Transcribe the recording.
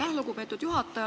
Aitäh, lugupeetud juhataja!